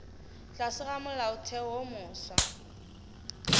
tlase ga molaotheo wo mofsa